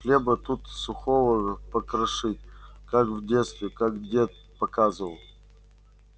хлеба туда сухого покрошить как в детстве как дед показывал